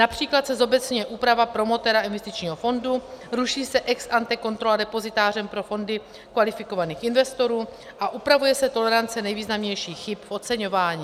Například se zobecňuje úprava promotéra investičního fondu, ruší se ex ante kontrola depozitářem pro fondy kvalifikovaných investorů a upravuje se tolerance nejvýznamnějších chyb v oceňování.